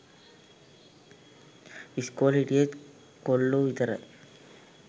ඉස්කෝලෙ හිටියෙ‍ත් කොල්ලෝ විතරයි